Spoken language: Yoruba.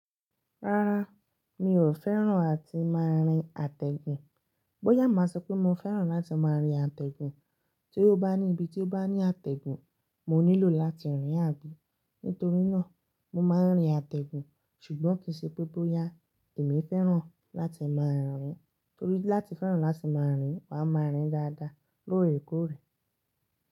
Rárá, mi ò fẹ́ràn áti máa rin àtẹ̀gùn. Bóyá máa sọ pé mo fẹ́ràn láti máa rin àtẹ̀gùn, tí ó bá ní ibi tí ó bá ní àtẹ̀gùn, mo nílò láti rìn àbí. Nítorí náà, mo máa ń rin àtẹ̀gùn. Ṣùgbọ́n kìí ṣe pé bóyá èmi fẹ́ràn láti máa rin torí láti fẹ́ràn láti máa rìn, wà máa rìn dáadáa lóòrèkóòrè.